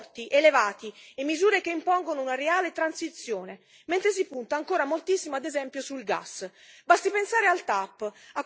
Mancano obiettivi vincolanti forti, elevati e misure che impongono una reale transizione, mentre si punta ancora moltissimo, ad esempio, sul gas.